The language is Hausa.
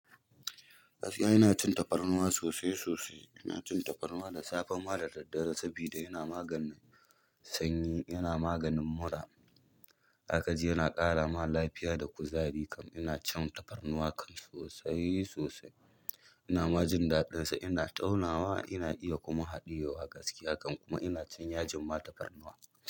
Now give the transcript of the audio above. Gaskiya ina cin tafarnuwa sosai sosai. Ina cin tafarnuwa da safa, da daddare saboda yana maganin sanyi, yana maganin mura. Zaka ji yana ƙara ma lafiya da kuzari kam. Ina shan tafarnuwa kam sosai sosai. Ina majin daɗinsa, ina taunawa, ina iya kuma haɗiyewa gaskiya kam kuma ina cin yajin ma tafarnuwa.